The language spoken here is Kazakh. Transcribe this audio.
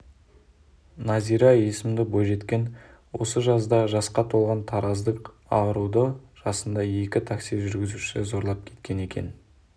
назира есімді бойжеткен осы жазда жасқа толған тараздық аруды жасында екі такси жүргізушісі зорлап кеткен екен